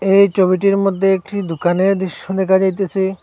এই ছবিটির মধ্যে একটি দুকানের দৃশ্য দেখা যাইতেসে।